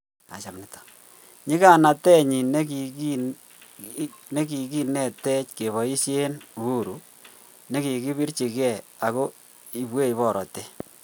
Nyiganatenyin nagiinetech kepoishen uhuru negigipirch ge ago ipwech porotet